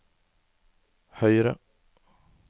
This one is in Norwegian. høyre